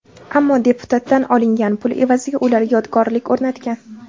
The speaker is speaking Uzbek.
Ammo deputatdan olingan pul evaziga ular yodgorlik o‘rnatgan.